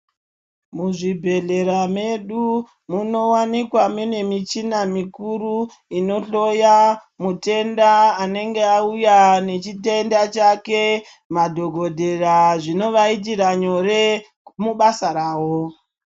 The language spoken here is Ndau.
Muzvibhehlera medu munowanikwa mune muchina mukuru inohloya mutenda anenge auya nechitend chake madhokodheya zvinovaitira nyore mubasa ravo.